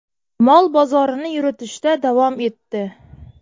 Mol bozorini yuritishda davom etdi.